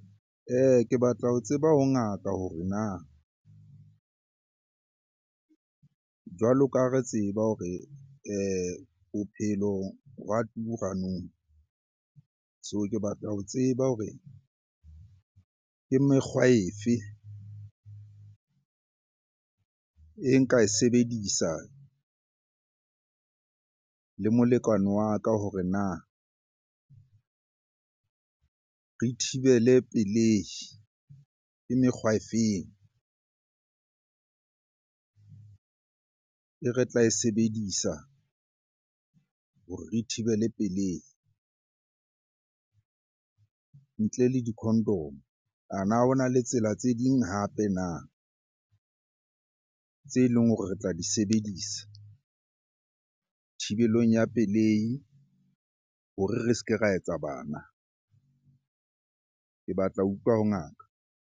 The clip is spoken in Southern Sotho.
Ke batla ho tseba ha ngaka hore na jwalo ka ha re tseba hore bophelo wa tura nou. So ke batla ho tseba hore ke mekgwa e fe e nka e sebedisa le molekane wa ka hore na re thibele pelehi? Ke mekgwa e feng e re tla e sebedisa hore re thibele pelehi ntle le di-condom? Ana ho na le tsela tse ding hape na tse leng hore re tla di sebedisa thibelong ya pelehi hore re se ke ra etsa bana? Ke batla ho utlwa ho ngaka.